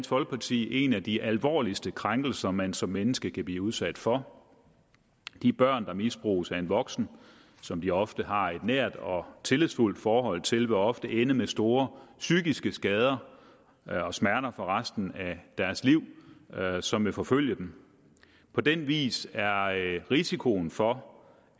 folkeparti en af de alvorligste krænkelser man som menneske kan blive udsat for de børn der misbruges af en voksen som de ofte har et nært og tillidsfuldt forhold til vil ofte ende med store psykiske skader og smerter for resten af deres liv som vil forfølge dem på den vis er risikoen for